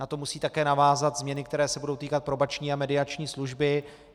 Na to musí také navázat změny, které se budou týkat probační a mediační služby.